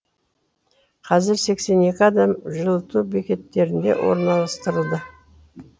қазір сексен екі адам жылыту бекеттеріне орналастырылды